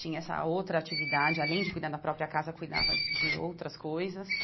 Tinha essa outra atividade, além de cuidar da própria casa, cuidava de outras coisas.